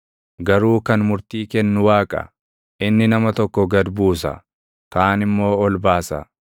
Garuu kan murtii kennu Waaqa; inni nama tokko gad buusa; kaan immoo ol baasa.